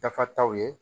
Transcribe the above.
Dafa taw ye